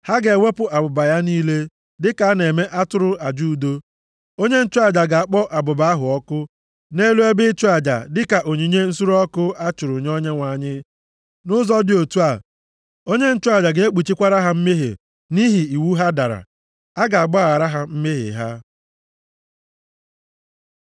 Ha ga-ewepụ abụba ya niile, dịka a na-eme nʼatụrụ aja udo. Onye nchụaja ga-akpọ abụba ahụ ọkụ nʼelu ebe ịchụ aja dịka onyinye nsure ọkụ a chụrụ nye Onyenwe anyị. Nʼụzọ dị otu a, onye nchụaja ga-ekpuchikwara ha mmehie nʼihi iwu ha dara. A ga-agbaghara ha mmehie ha.